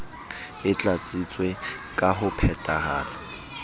e tlatsitswe ka ho phetahala